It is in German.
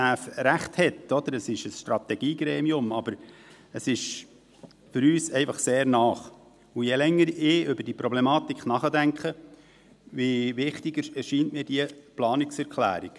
Es ist ein Strategiegremium, aber es ist für uns einfach sehr nahe, und je länger ich über diese Problematik nachdenke, desto wichtiger erscheint mir diese Planungserklärung.